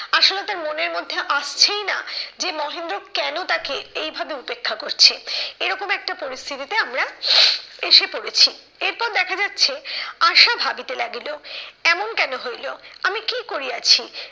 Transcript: আশালতার মনের মধ্যে আসছেই না যে মহেন্দ্র কেন তাকে এই ভাবে উপেক্ষা করছে। এরকম একটা পরিস্থিতিতে আমরা এসে পড়েছি এরপর দেখা যাচ্ছে, আশা ভাবিতে লাগিল, এমন কেন হইলো? আমি কি করিয়াছি?